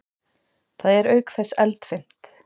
Það er auk þess eldfimt.